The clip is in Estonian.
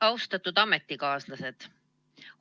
Austatud ametikaaslased!